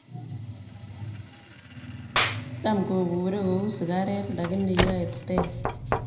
Tam koburee kouu sikareet lakini yaee ter